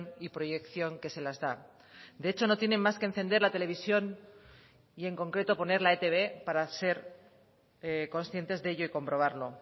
y proyección que se las da de hecho no tienen más que encender la televisión y en concreto poner la etb para ser conscientes de ello y comprobarlo